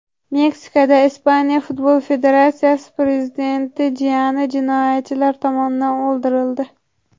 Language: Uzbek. Meksikada Ispaniya futbol federatsiyasi prezidenti jiyani jinoyatchilar tomonidan o‘ldirildi.